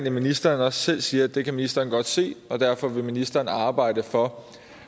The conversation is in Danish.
at ministeren også selv siger at det kan ministeren godt se og derfor vil ministeren arbejde for